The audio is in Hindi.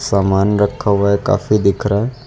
सामान रखा हुआ है काफी दिख रहा है।